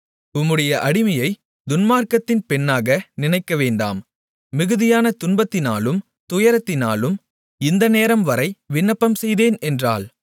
உம்முடைய அடிமையை துன்மார்க்கத்தின் பெண்ணாக நினைக்கவேண்டாம் மிகுதியான துன்பத்தினாலும் துயரத்தினாலும் இந்த நேரம்வரை விண்ணப்பம்செய்தேன் என்றாள்